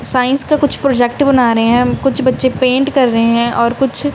science का कुछ project बना रहे हैं हम कुछ बच्चे पेंट कर रहे हैं और कुछ--